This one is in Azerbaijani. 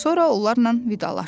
Sonra onlardan vidalaşdı.